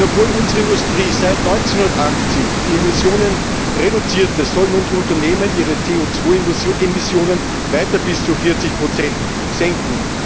Denn obwohl unsere Industrie seit 1980 die Emissionen reduziert hat, sollen nun die Unternehmen ihre CO Emissionen weiter bis zu 40 senken.